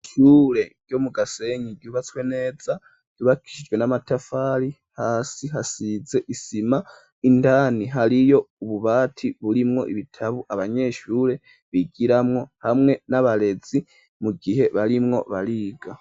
Ibishure ryo mu gasenyi ryubatswe neza yubakishijwe n'amatafari hasi hasize isima indani hariyo ububati burimwo ibitabu abanyeshure bigiramwo hamwe n'abarezi mu gihe barimwo bariga.